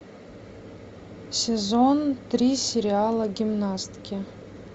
сезон три сериала гимнастки